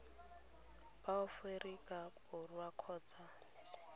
ba aforika borwa kgotsa mmisheneng